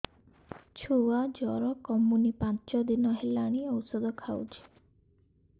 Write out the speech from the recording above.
ଛୁଆ ଜର କମୁନି ପାଞ୍ଚ ଦିନ ହେଲାଣି ଔଷଧ ଖାଉଛି